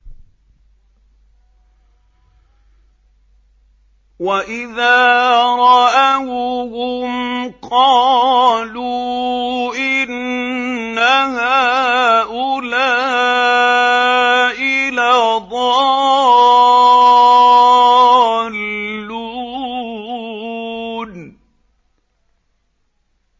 وَإِذَا رَأَوْهُمْ قَالُوا إِنَّ هَٰؤُلَاءِ لَضَالُّونَ